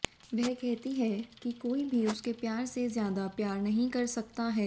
वह कहती है कि कोई भी उसके प्यार से ज्यादा प्यार नहीं कर सकता है